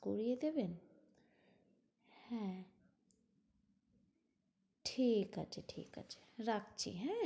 করিয়ে দেবেন, হ্যাঁ। ঠিক আছে, ঠিক আছে রাখছি হ্যাঁ?